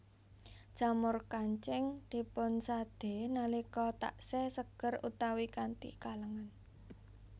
Jamur kancing dipunsadé nalika taksih seger utawi kanthi kalèngan